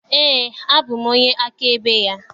Eé, abụ m onye akaebe ya.